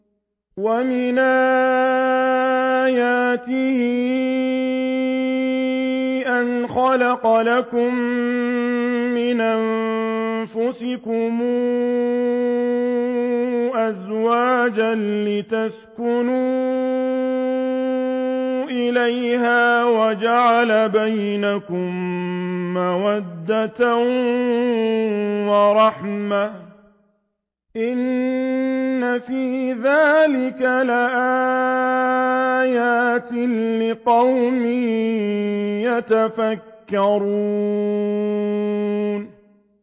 وَمِنْ آيَاتِهِ أَنْ خَلَقَ لَكُم مِّنْ أَنفُسِكُمْ أَزْوَاجًا لِّتَسْكُنُوا إِلَيْهَا وَجَعَلَ بَيْنَكُم مَّوَدَّةً وَرَحْمَةً ۚ إِنَّ فِي ذَٰلِكَ لَآيَاتٍ لِّقَوْمٍ يَتَفَكَّرُونَ